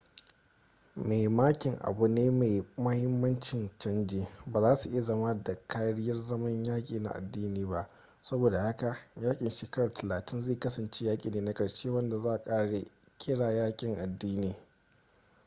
mai makin abu ne mai mahimmancin canji ba za su iya zama da karyar zaman yaki na adini ba sabo da haka yakin shekara talatin zai kasance yaki ne na karshe wanda za a kira yakin adini